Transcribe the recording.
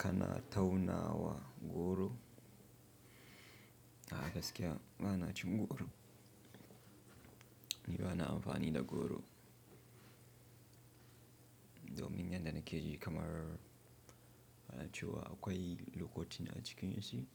Kana taunawa goro, a gaskya ba na cin goro, ni ba na amfani da goro. Domin yan da na keji kamar ana cewa, akwai lokotin a cikin shi,